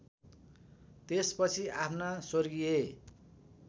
त्यसपछि आफ्ना स्वर्गीय